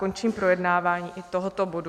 Končím projednávání i tohoto bodu.